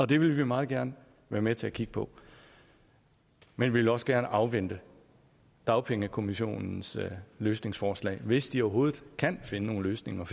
det vil vi meget gerne være med til at kigge på men vi vil også gerne afvente dagpengekommissionens løsningsforslag hvis de overhovedet kan finde nogle løsninger